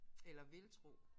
Eller vil tro